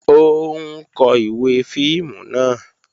Ó ń kó ìwé fíìmù náà